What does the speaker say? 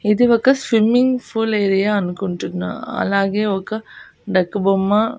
ఇది ఒక swimming pool area అనుకుంటున్న అలాగే ఒక డక్కు బొమ్మ.